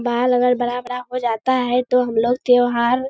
बाल अगर बड़ा-बड़ा हो जाता है तो हमलोग त्योहार --